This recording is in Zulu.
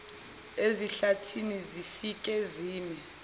ezihlathini zifike zime